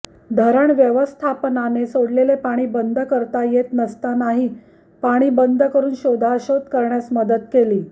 धरण व्यवस्थापनाने सोडलेले पाणी बंद करता येत नसतानाही पाणी बंद करून शोधाशोध करण्यास मदत केली